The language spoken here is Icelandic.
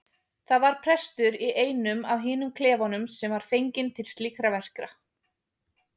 Það var prestur í einum af hinum klefunum sem var fenginn til slíkra verka.